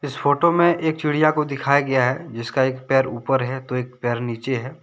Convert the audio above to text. इस फोटो में एक चिड़िया को दिखाया गया हैजिसका एक पैर ऊपर है तो एक पैर नीचे है।